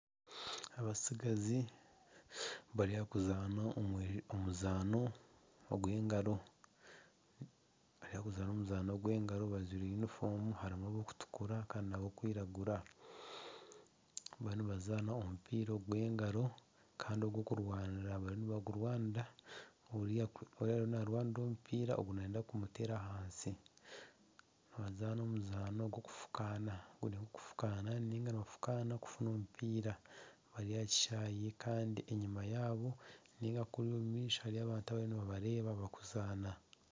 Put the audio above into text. Abatsigazi bari aha kuzaana omuzaano gw'engaro bajwire yunifomu harimu abakutukura kandi n'abakwiragura nibazaana omupiira ogw'engaro bariyo nibagurwanira oriya ariyo naarwanira omupiira ogu nayenda kumuteera ahansi nibazana omuzaano gwokufukaana, boona nibafukaana kufuna omupiira bari aha kishaayi kandi enyima yaabo ninga kuriya omu maisho hariyo abantu abariyo nibabareba barikufukaana.